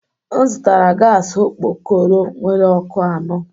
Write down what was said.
M zụtara gas okpokoro nwere ọkụ anọ